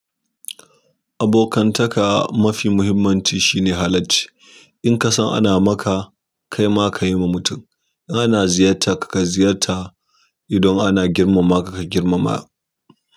Abokantaka mafi muhimmanci shine halacci! In ka san ana maka kai ma ka yi wa mutum. In ana ziyarta ka ka ziyarta. Idan ana girmama ka ka girmama.